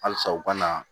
Halisa u ka na